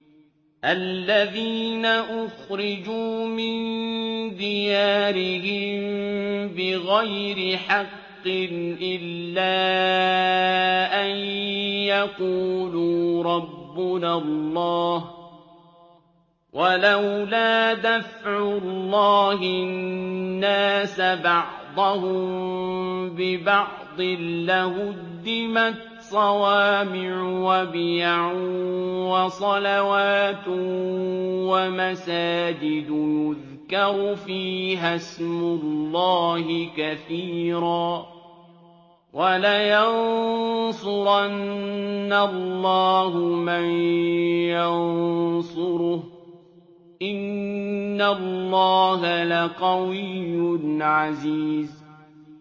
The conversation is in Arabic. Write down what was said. الَّذِينَ أُخْرِجُوا مِن دِيَارِهِم بِغَيْرِ حَقٍّ إِلَّا أَن يَقُولُوا رَبُّنَا اللَّهُ ۗ وَلَوْلَا دَفْعُ اللَّهِ النَّاسَ بَعْضَهُم بِبَعْضٍ لَّهُدِّمَتْ صَوَامِعُ وَبِيَعٌ وَصَلَوَاتٌ وَمَسَاجِدُ يُذْكَرُ فِيهَا اسْمُ اللَّهِ كَثِيرًا ۗ وَلَيَنصُرَنَّ اللَّهُ مَن يَنصُرُهُ ۗ إِنَّ اللَّهَ لَقَوِيٌّ عَزِيزٌ